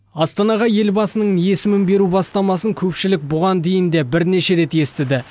астанаға елбасының есімін беру бастамасын көпшілік бұған дейін де бірнеше рет естіді